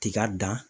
Tiga dan